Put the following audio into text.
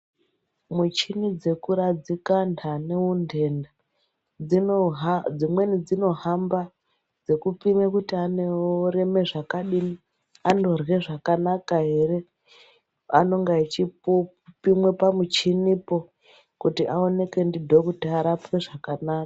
Muchini dzekuradzika antu ane untenda dzimweni dzinohamba, dzekupime kuti anoreme zvakadini anorywe zvakanaka ere. Anonga echipimwe pamuchinipo kuti aoneke ndidhokuta arapwe zvakanaka.